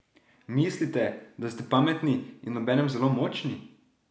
Mislite, da ste pametni in obenem zelo močni?